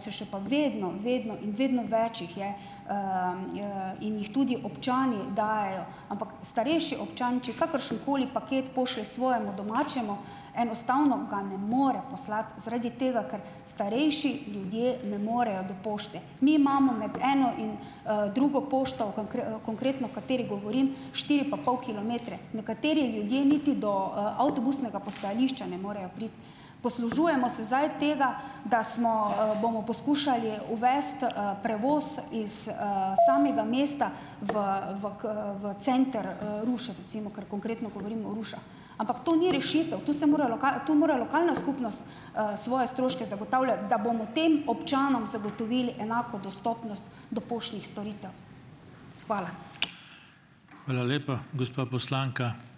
se še pa vedno, vedno in vedno več jih je, in jih tudi občani dajejo, ampak starejši občan, če kakršenkoli paket pošlje svojemu domačemu, enostavno ga ne more poslati, zaradi tega, ker starejši ljudje ne morejo do pošte. Mi imamo med eno in, drugo pošto, konkretno, o kateri govorim, štiri pa pol kilometre. Nekateri ljudje niti do, avtobusnega postajališča ne morejo priti. Poslužujemo se zdaj tega, da smo, bomo poskušali uvesti, prevoz iz, samega mesta v v v center, Ruše recimo, ker konkretno govorim o Ampak to ni rešitev, tu se mora to mora lokalna skupnost, svoje stroške zagotavljati, da bomo tem občanom zagotovili enako dostopnost do poštnih storitev. Hvala. Hvala lepa, gospa poslanka.